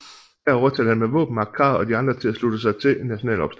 Her overtalte han med våbenmagt Kahr og de andre til at slutte sig til en national opstand